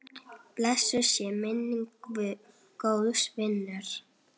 Blessuð sé minning góðs vinar.